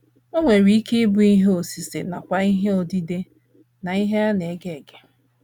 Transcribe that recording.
O nwere ike ịbụ ihe osise nakwa ihe odide na ihe a na - ege ege.